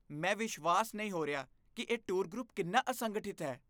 ਮੈਂ ਵਿਸ਼ਵਾਸ ਨਹੀਂ ਹੋ ਰਿਹਾ ਕਿ ਇਹ ਟੂਰ ਗਰੁੱਪ ਕਿੰਨਾ ਅਸੰਗਠਿਤ ਹੈ।